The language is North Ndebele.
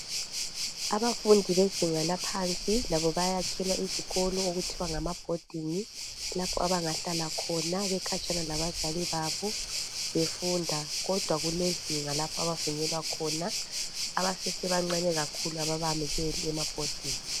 Abafundi bezinga baphansi labo bayakhelwa izikolo okuthiwa ngama Boarding lapho abangahlala khona bekhatshana labazalibabo befunda kodwa kulezinga lapho abavunyelwa khona. Abancane ababayamukeli ema boarding.